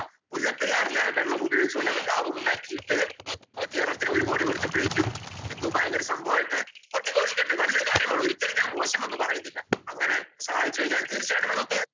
മുല്ലപ്പെരിയാറിലെ വെള്ളമുപയോഗിച്ച്‌ കൊണ്ട് അവര്‍ ലാഭമുണ്ടാക്കിയിട്ടു കേരളത്തിനു ഒരു കോടി കൊടുത്തപ്പോഴേക്കും എന്തോ ഭയങ്കര സംഭാവമായിട്ടു കൊട്ടിഘോഷിക്കട്ടെ നല്ലൊരു കാര്യമാണ്. ഒരിക്കലും ഞാന്‍ മോശമെന്ന് പറയുന്നില്ല. അങ്ങനെ സഹായിച്ചു കഴിഞ്ഞാല്‍ തീര്‍ച്ചയായിട്ടും നമുക്ക്